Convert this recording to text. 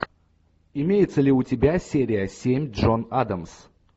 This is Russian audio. имеется ли у тебя серия семь джон адамс